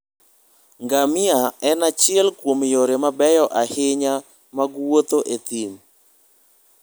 Ngamia en achiel kuom yore mabeyo ahinya mag wuotho e thim.